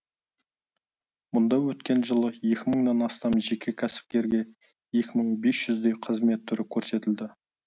мұнда өткен жылы екі мыңнан астам жеке кәсіпкерге екі мың бес жүздей қызмет түрі көрсетілді